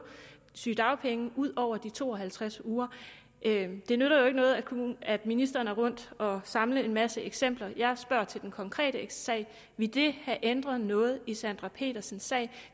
sygedagpenge ud over de to og halvtreds uger det nytter jo ikke noget at ministeren er rundt og samle en masse eksempler jeg spørger til den konkrete sag ville det have ændret noget i sandra petersens sag